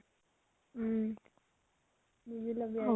উম বুজি লবি আৰু।